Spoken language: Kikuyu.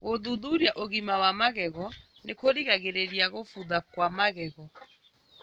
Gũthuthuria ũgima wa magego nĩkũrigagĩrĩria gũbutha kwa magego